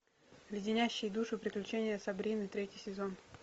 леденящие душу приключения сабрины третий сезон